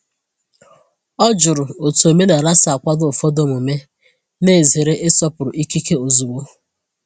O jụrụ otu omenala si akwado ụfọdụ omume, na-ezere ịsọpụrụ ikike ozugbo.